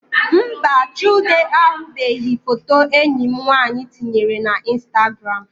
Mba, Chude ahụbeghị foto enyi m nwaanyị tinyere na instagram